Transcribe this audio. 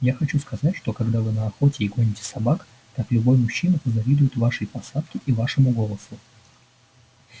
я хочу сказать что когда вы на охоте и гоните собак так любой мужчина позавидует вашей посадке и вашему голосу